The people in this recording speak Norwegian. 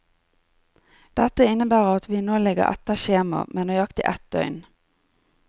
Dette innebærer at vi nå ligger etter skjema, med nøyaktig ett døgn.